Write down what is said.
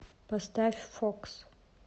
поставь фокс